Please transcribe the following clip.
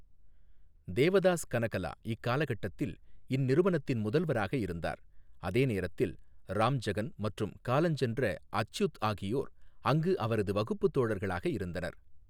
தேவதாஸ் கனகலா இக்காலகட்டத்தில் இந்நிறுவனத்தின் முதல்வராக இருந்தார், அதே நேரத்தில் ராம்ஜகன் மற்றும் காலஞ்சென்ற அச்யுத் ஆகியோர் அங்கு அவரது வகுப்புத் தோழர்களாக இருந்தனர்.